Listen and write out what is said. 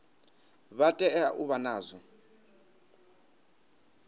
vha tea u vha nazwo